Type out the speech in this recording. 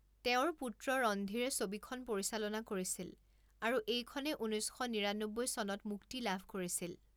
তেওঁৰ পুত্ৰ ৰণধীৰে ছবিখন পৰিচালনা কৰিছিল আৰু এইখনে ঊনৈছ শ নিৰান্নব্বৈ চনত মুক্তি লাভ কৰিছিল।